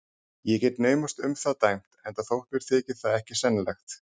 Ég get naumast um það dæmt, enda þótt mér þyki það ekki sennilegt.